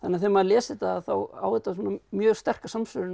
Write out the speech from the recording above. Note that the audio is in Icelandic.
þegar maður les þetta þá á þetta mjög sterka samsvörun við